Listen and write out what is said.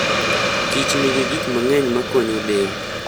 kichnigi gik mang'eny makonyo del.